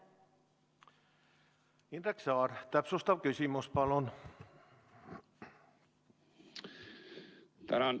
Indrek Saar, täpsustav küsimus, palun!